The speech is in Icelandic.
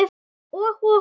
Og og og?